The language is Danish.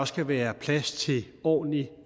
skal være plads til ordentlig